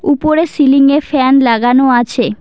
উপরে সিলিং -এ ফ্যান লাগানো আছে।